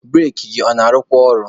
Bureki gị ọ na-arụkwa ọrụ?